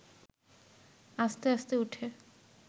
আস্তে আস্তে উঠে